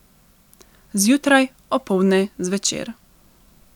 Zjutraj, opoldne, zvečer.